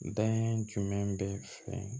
Da jumɛn bɛ fɛ